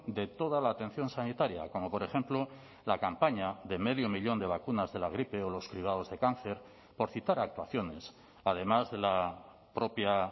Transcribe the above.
de toda la atención sanitaria como por ejemplo la campaña de medio millón de vacunas de la gripe o los cribados de cáncer por citar actuaciones además de la propia